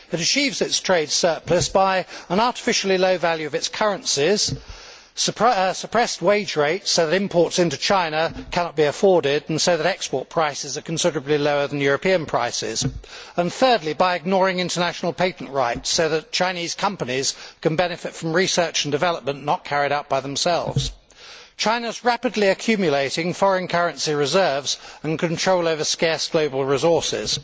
China achieves its trade surplus by an artificially low value of its currency, by suppressed wage rates so that imports into China cannot be afforded and so that export prices are considerably lower than European prices, and thirdly, by ignoring international patent rights so that Chinese companies can benefit from research and development not carried out by themselves. China is rapidly accumulating foreign currency reserves and control over scarce global resources.